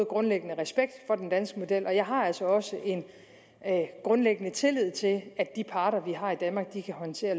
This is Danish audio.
grundlæggende respekt for den danske model og jeg har altså også en grundlæggende tillid til at de parter vi har i danmark kan håndtere